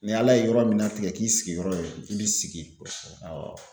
Ni Ala ye yɔrɔ min na tigɛ k'i sigiyɔrɔ ye i b'i sigi awɔ